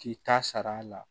K'i ta sara la